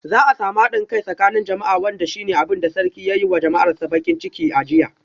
Za a samu hadin kai a tsakanin jama'a wanda shi ne abin da sarki ya yi wa jama'arsa bakin ciki a jiya.